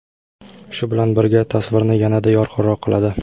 Shu bilan birga, tasvirni yanada yorqinroq qiladi.